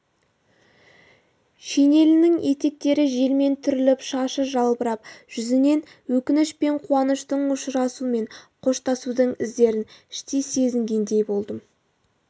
шинелінің етектері желмен түріліп шашы жалбырап жүзінен өкініш пен қуаныштың ұшырасу мен қоштасудың іздерін іштей сезінгендей болдым